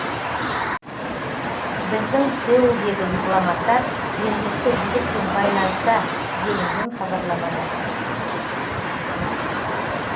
біздің сеулдегі дипломаттар жергілікті билікпен байланыста делінген хабарламада